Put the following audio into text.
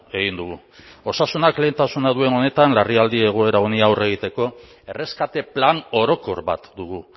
egin dugu osasunak lehentasuna duen honetan larrialdi egoera honi aurre egiteko erreskate plan orokor bat dugu